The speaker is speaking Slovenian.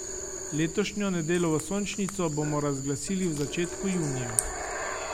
Letošnjo Nedelovo sončnico bomo razglasili v začetku junija.